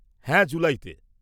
-হ্যাঁ, জুলাইতে।